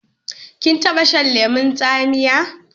Kin taba shan lemon tsamiya?